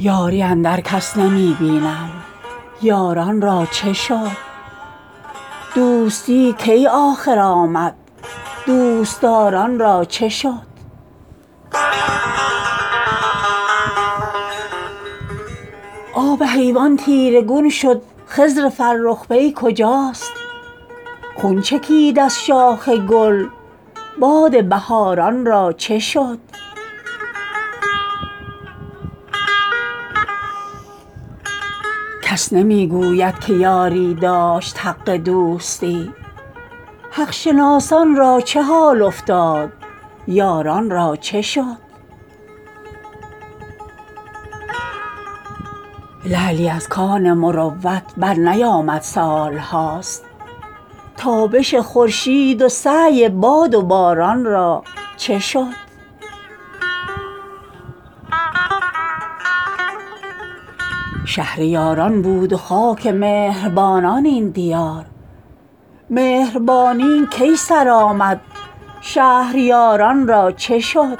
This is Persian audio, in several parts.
یاری اندر کس نمی بینیم یاران را چه شد دوستی کی آخر آمد دوست دار ان را چه شد آب حیوان تیره گون شد خضر فرخ پی کجاست خون چکید از شاخ گل باد بهار ان را چه شد کس نمی گوید که یاری داشت حق دوستی حق شناسان را چه حال افتاد یاران را چه شد لعلی از کان مروت برنیامد سال هاست تابش خورشید و سعی باد و باران را چه شد شهر یاران بود و خاک مهر بانان این دیار مهربانی کی سر آمد شهریار ان را چه شد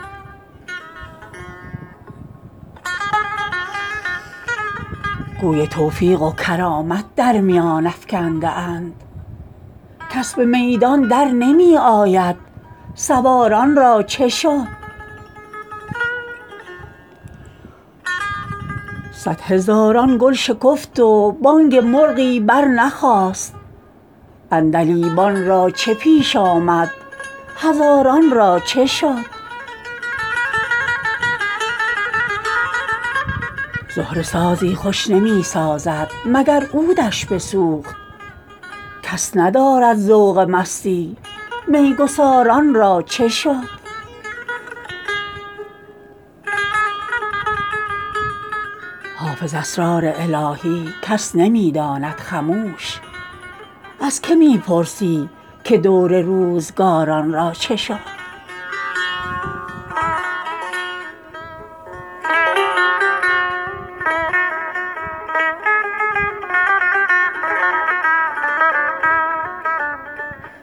گوی توفیق و کرامت در میان افکنده اند کس به میدان در نمی آید سوار ان را چه شد صدهزاران گل شکفت و بانگ مرغی برنخاست عندلیبان را چه پیش آمد هزاران را چه شد زهره سازی خوش نمی سازد مگر عود ش بسوخت کس ندارد ذوق مستی می گسار ان را چه شد حافظ اسرار الهی کس نمی داند خموش از که می پرسی که دور روزگار ان را چه شد